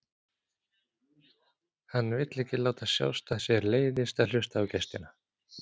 Hann vill ekki láta sjást að sér leiðist að hlusta á gestina.